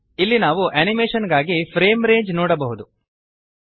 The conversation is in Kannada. ಇಲ್ಲಿ ನಾವು ಅನಿಮೇಶನ್ ಗಾಗಿ ಫ್ರೇಮ್ ರೇಂಜ್ ನೋಡಬಹುದು